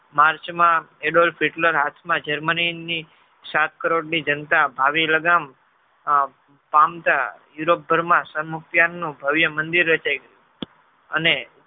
march માં Adolf Hitler આજ માં germany ની શાસ્ત્રોત ની જનતા આવી લાગમ માનતા europe ઘર માં સંમુક્તાન નું ભવ્ય મંદિર રચાય અને